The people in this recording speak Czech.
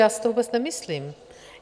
Já si to vůbec nemyslím.